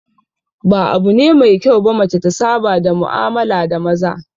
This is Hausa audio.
Ba abu ne mai kyau ba mace ta saba da mu'amala da maza